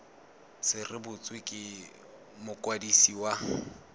se rebotswe ke mokwadisi wa